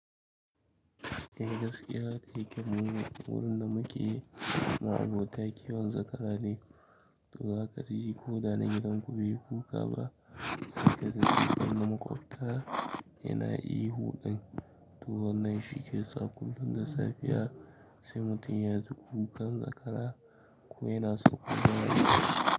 Eh gaskiya, ɗaya ke muwurin da muke ma'abota kiwon zakara ne, to haka zai ji ko da na gidan ku be kuka ba, sai ka zaci don na maƙwabta yana ihu ɗin, to wannan shi ke sa kullum safiya sai mutum ya ji ku kukan zakara ko yana sauƙa da wuri.